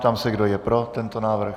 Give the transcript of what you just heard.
Ptám se, kdo je pro tento návrh.